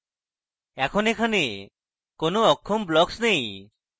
এখন এখানে কোনো অক্ষম blocks নেই